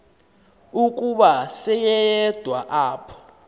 ukuba seleyedwa apho